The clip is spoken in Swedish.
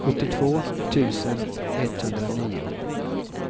sjuttiotvå tusen etthundranio